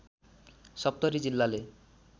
सप्तरी जिल्लाले